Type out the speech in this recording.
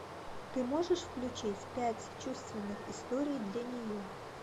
ты можешь включить пять чувственных историй для нее